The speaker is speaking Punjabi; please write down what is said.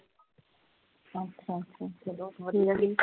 ਅੱਛਾ ਅੱਛਾ ਚਲੋ ਵਧੀਆ